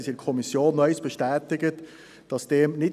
Wir kommen zum Traktandum 6: